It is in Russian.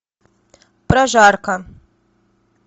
прожарка